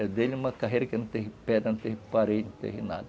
Eu dei-lhe uma carreira que não teve pedra, não teve parede, não teve nada.